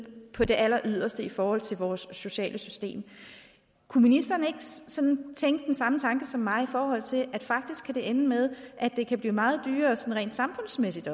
på det alleryderste i forhold til vores sociale system kunne ministeren ikke sådan tænke den samme tanke som mig i forhold til at det faktisk kan ende med at det kan blive meget dyrere sådan rent samfundsmæssigt